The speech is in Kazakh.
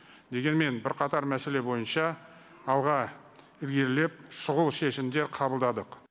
дегенмен бірқатар мәселе бойынша алға ілгерілеп шұғыл шешімдер қабылдадық